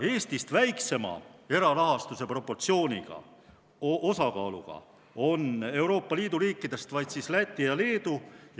Eestist väiksema erarahastuse osakaaluga on Euroopa Liidu riikidest vaid Läti ja Leedu.